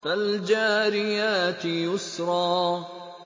فَالْجَارِيَاتِ يُسْرًا